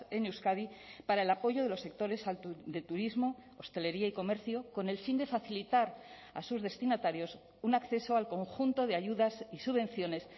en euskadi para el apoyo de los sectores de turismo hostelería y comercio con el fin de facilitar a sus destinatarios un acceso al conjunto de ayudas y subvenciones